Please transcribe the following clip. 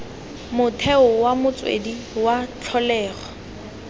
motheo wa motswedi wa tlholego